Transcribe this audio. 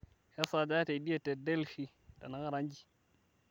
kesaaja teidie te delhi tenakata nji